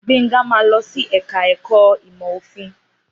Gbénga máa lọ sí ẹ̀ka ẹ̀kọ́ ìmọ̀ òfin